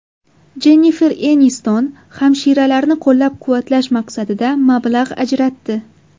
Jennifer Eniston hamshiralarni qo‘llab-quvvatlash maqsadida mablag‘ ajratdi.